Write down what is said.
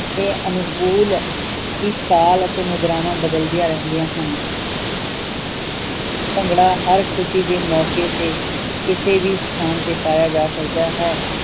ਦੇ ਅਨੁਕੂਲ ਹੀ ਤਾਲ ਅਤੇ ਮੁਦਰਾਵਾਂ ਬਦਲ ਦੀਆਂ ਰਹਿੰਦੀਆਂ ਹਨ ਭੰਗੜਾ ਹਰ ਖੁਸ਼ੀ ਦੇ ਮੌਕੇ ਤੇ ਕਿਸੇ ਵੀ ਥਾਂ ਤੇ ਪਾਇਆ ਜਾ ਸਕਦਾ ਹੈ